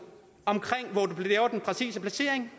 omkring den præcise placering